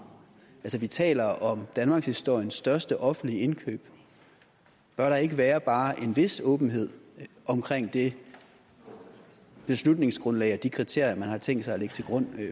vi taler om danmarkshistoriens største offentlige indkøb bør der ikke være bare en vis åbenhed om det beslutningsgrundlag og de kriterier man har tænkt sig at lægge til grund